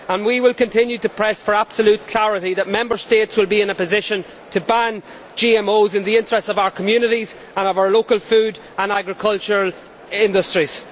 We will continue to press for absolute clarity that Member States will be in a position to ban GMOs in the interests of our communities and of our local food and agriculture industries.